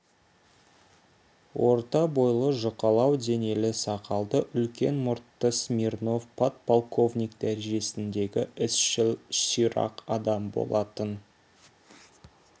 орта бойлы жұқалау денелі сақалды үлкен мұртты смирнов подполковник дәрежесіндегі ісшіл ширақ адам болатын